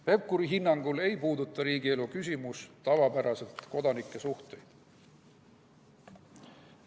Pevkuri hinnangul ei puuduta riigielu küsimus tavapäraselt kodanike suhteid.